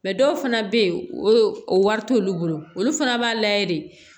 Mɛ dɔw fana bɛ yen o wari t'olu bolo olu fana b'a layɛ de